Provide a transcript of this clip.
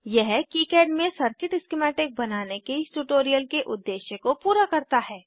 यह किकाड में circuit schematic बनाने के इस ट्यूटोरियल के उद्देश्य को पूरा करता है